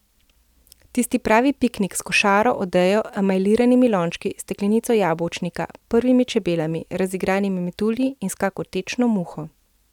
Tisti pravi piknik s košaro, odejo, emajliranimi lončki, steklenico jabolčnika, prvimi čebelami, razigranimi metulji in s kako tečno muho.